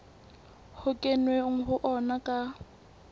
ho kenweng ho ona ka